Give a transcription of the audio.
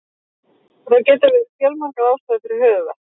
Það geta verið fjölmargar ástæður fyrir höfuðverk.